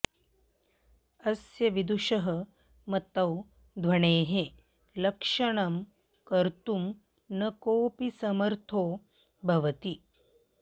अस्य विदुषः मतौ ध्वनेः लक्षणं कर्त्तुं न कोऽपि समर्थों भवति